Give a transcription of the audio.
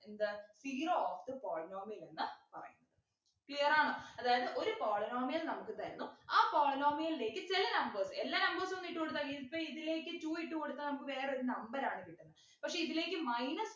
എന്ത് zero of the polynomial എന്ന് പറയുന്നത് clear ആണോ അതായത് ഒരു polynomial നമുക്ക് തരുന്നു ആ polynomial ലേക്ക് ചില numbers എല്ലാ numbers ഉം ഒന്നും വിട്ടുകൊടുത്താൽ ഇപ്പോ ഇതിലേക്ക് two ഇട്ടുകൊടുത്താൽ നമുക്ക് വേറൊരു number ആണ് കിട്ടുന്നെ പക്ഷെ ഇതിലേക്ക് minus